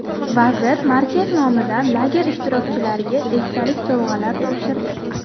Vazir markaz nomidan lager ishtirokchilarga esdalik sovg‘alar topshirdi.